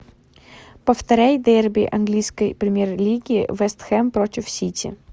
повторяй дерби английской премьер лиги вест хэм против сити